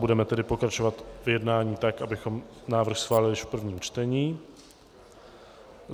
Budeme tedy pokračovat v jednání tak, abychom návrh schválili již v prvním čtení.